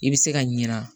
I bɛ se ka ɲina